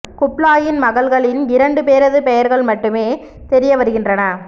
குப்லாயின் மகள்களில் இரண்டு பேரது பெயர்கள் மட்டுமே தெரிய வருகின்றன